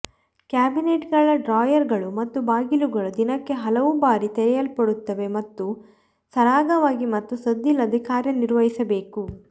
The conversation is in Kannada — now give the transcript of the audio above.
ಕ್ಯಾಬಿನೆಟ್ಗಳ ಡ್ರಾಯರ್ಗಳು ಮತ್ತು ಬಾಗಿಲುಗಳು ದಿನಕ್ಕೆ ಹಲವು ಬಾರಿ ತೆರೆಯಲ್ಪಡುತ್ತವೆ ಮತ್ತು ಸರಾಗವಾಗಿ ಮತ್ತು ಸದ್ದಿಲ್ಲದೆ ಕಾರ್ಯ ನಿರ್ವಹಿಸಬೇಕು